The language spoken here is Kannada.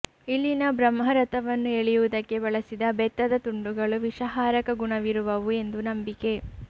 ಇಲ್ಲಿನ ಬ್ರಹ್ಮರಥವನ್ನು ಎಳೆಯುವುದಕ್ಕೆ ಬಳಸಿದ ಬೆತ್ತದ ತುಂಡುಗಳು ವಿಷಹಾರಕ ಗುಣವಿರುವವು ಎಂದು ನಂಬಿಕೆ